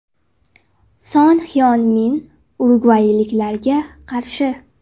Son Hyon Min urugvayliklarga qarshi.